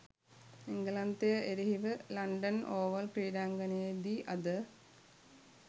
එංගලන්තය එරෙහිව London oval ක්‍රීඩාංගණයේදී අද